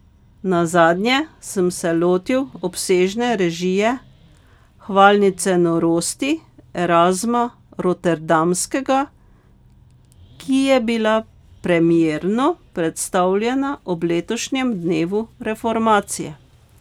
Nazadnje sem se lotil obsežne režije Hvalnice norosti Erazma Rotterdamskega, ki je bila premierno predstavljena ob letošnjem dnevu reformacije.